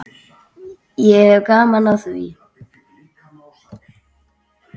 Ég hef gaman af því.